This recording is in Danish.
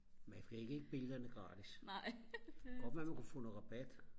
man fik ikke billederne gratis det kunne godt være man kunne få noget rabat